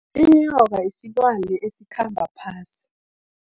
Inyoka, yisilwane esikhamba phasi.